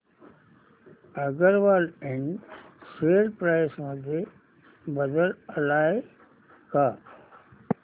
अगरवाल इंड share price मध्ये बदल आलाय का